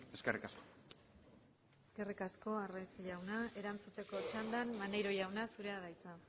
eskerrik asko eskerrik asko arraiz jauna erantzuteko txandan maneiro jauna zurea da hitza